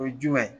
O ye jumɛn ye